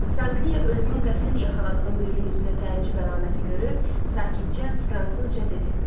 Sankliya ölümün qəfil yaxaladığı Müürün üzündə təəccüb əlaməti görüb, sakitcə fransızca dedi.